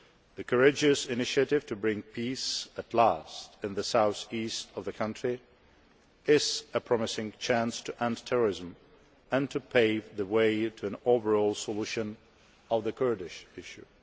The courageous initiative to bring peace at last in the south east of the country is a promising chance to end terrorism and to pave the way to an overall solution of the Kurdish issue.